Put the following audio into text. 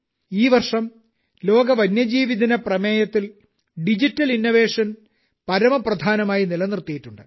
ഈവർഷം ലോക വന്യജീവിദിന പ്രമേയത്തിൽ ഡിജിറ്റൽ ഇന്നൊവേഷൻ പരമപ്രധാനമായി നിലനിർത്തിയിട്ടുണ്ട്